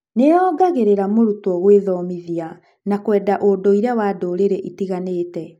nĩyongagĩrĩra mũrutwo gwĩthomithia na kwenda ũndũire wa ndũrĩrĩ itiganĩte